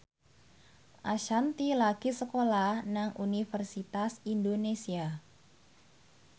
Ashanti lagi sekolah nang Universitas Indonesia